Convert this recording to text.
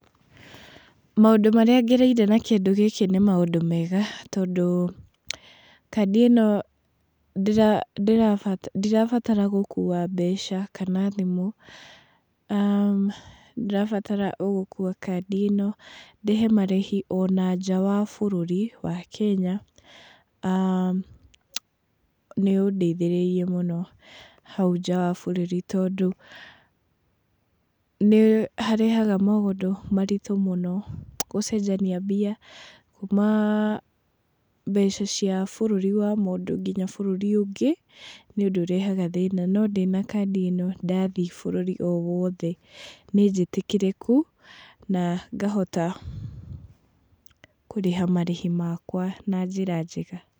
Maũndũ marĩa ngereire na kĩndũ gĩkĩ nĩ maũndũ mega, tondũ kandi ĩno ndĩrabatara gũkuua mbeca kana thimũ, ndirabatara o gũkua kandi ĩno ndĩhe marĩhi ona nja wa bũrũri wa Kenya, nĩũndeithĩrĩirie mũno hau nja wa bũrũri tondũ, nĩharehaga maũndũ maritũ mũno, gũcenjania mbia kuuma mbeca cia bũrũri wa mũndũ nginya bũrũri ũngĩ, nĩũndũ ũrehaga thĩna, no ndĩna kandi ĩno ndathiĩ bũrũri o wothe, nĩnjĩtĩkĩrĩku nangahota kũrĩha marĩhi makwa na njĩra njega.